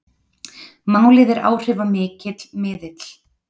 Málið er áhrifamikill miðill